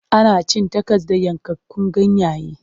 Ana cin takos da yankakkun ganyayyaki.